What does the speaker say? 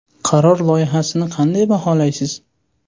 Qaror loyihasini qanday baholaysiz?